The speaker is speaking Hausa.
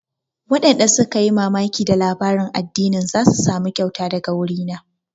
Waɗanda suka yi mamaki da labarin addinin za su samu kyauta daga wuri na